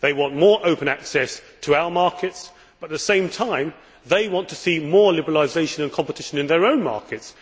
They want more open access to our markets, but at the same time they want to see more liberalisation and competition in their own markets.